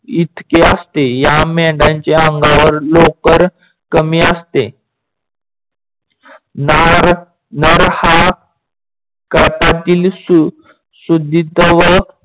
इतके असते. या मेंढयनच्या अंगावर लोकर कमी असते.